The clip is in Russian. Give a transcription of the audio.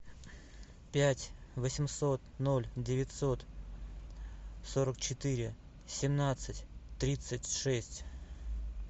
пять восемьсот ноль девятьсот сорок четыре семнадцать тридцать шесть